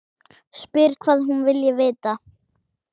Spyr hvað hún vilji vita.